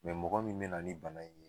mɔgɔ min bɛna ni bana in ye.